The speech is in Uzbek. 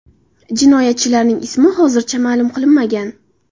Jinoyatchilarning ismi hozircha ma’lum qilinmagan.